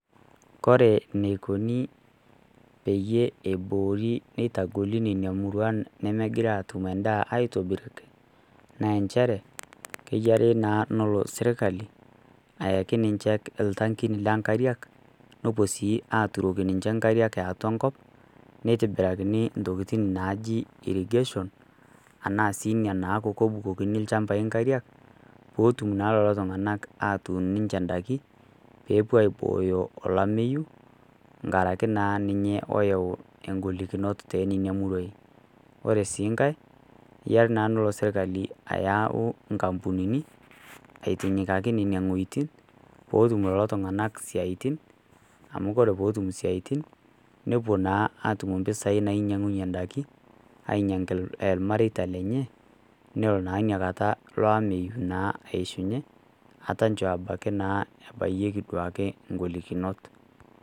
Kore eneikuni peyie eiboori neitagoli nena muruan nemegira atum endaa aitobiraki, naa enchere, kenare naa nelo serkali, ayaki ninche iltankin loo inkariak, nepuo sii aaturoki ninche inkariak e atua enkop, neitobirakini intokitin naaji irrigation, anaa sii naaku Ina nabukokini ilchambai inkariak peetum naa lelo tung'ana atum ninche indaiki, peepuo aibooyo olameyu inkaraki naa ninye oyau ingolikinot teinena muruain. Ore sii nkai eyare naa nelo sirkali ayau inkapunini aitinyokaki Nena wuetin, peetum lelo tung'ana isiaitin, amu ore pee etum isiaitin nepuo naa atum impisai nainyang'unye indaiki , ainyang'aki ilmareita lenye nelo naa inakata ilo ameyu naa aishunye ataa nchoo naa ebayieki duake ingolikinot.